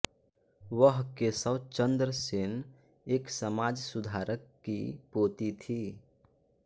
वह केशव चन्द्र सेन एक समाज सुधारक की पोती थी